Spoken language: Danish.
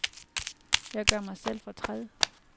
Jeg gør mig selv fortræd.